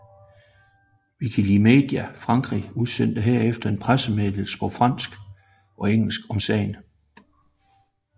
Wikimedia Frankrig udsendte herefter en pressemeddelelse på fransk og engelsk om sagen